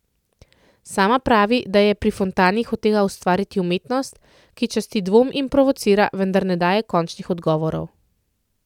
Sama pravi, da je pri Fontani hotela ustvariti umetnost, ki časti dvom in provocira, vendar ne daje končnih odgovorov.